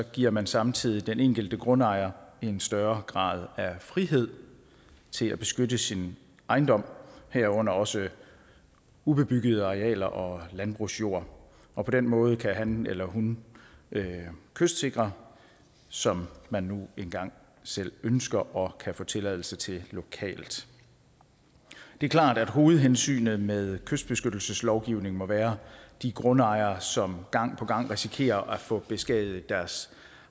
giver man samtidig den enkelte grundejer en større grad af frihed til at beskytte sin ejendom herunder også ubebyggede arealer og landbrugsjord og på den måde kan han eller hun kystsikre som man nu engang selv ønsker og kan få tilladelse til lokalt det er klart at hovedhensynet med kystbeskyttelseslovgivningen må være de grundejere som gang på gang risikerer at få beskadiget deres